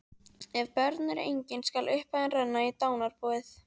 Ef börn eru engin skal upphæðin renna í dánarbúið.